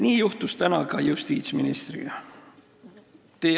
Nii juhtus täna ka justiitsministriga.